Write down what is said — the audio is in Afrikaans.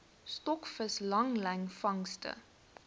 stokvis langlyn vangste